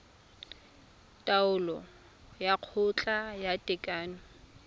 taolo ya kgotla ya tekano